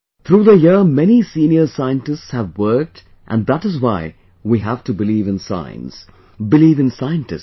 Through the year many senior scientists have worked and that is why we have to believe in science, believe in scientists